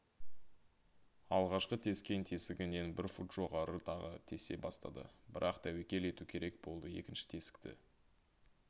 алғашқы тескен тесігінен бір фут жоғары тағы тесе бастады бірақ тәуекел ету керек болды екінші тесікті